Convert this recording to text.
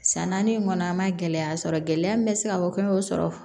San naani in kɔnɔ an ma gɛlɛya sɔrɔ gɛlɛya min bɛ se ka fɔ k'i y'o sɔrɔ